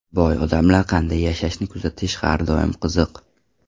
Boy odamlar qanday yashashini kuzatish har doim qiziq.